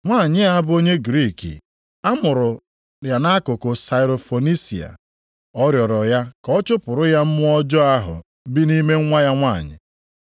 Nwanyị a bụ onye Griik a mụrụ nʼakụkụ Sairo-Fonisia. Ọ rịọrọ ya ka ọ chụpụrụ ya mmụọ ọjọọ ahụ bi nʼime nwa ya nwanyị.